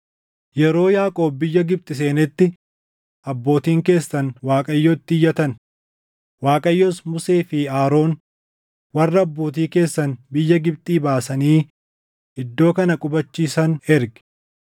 “Yeroo Yaaqoob biyya Gibxi seenetti abbootiin keessan Waaqayyootti iyyatan; Waaqayyos Musee fi Aroon warra abbootii keessan biyya Gibxii baasanii iddoo kana qubachiisan erge.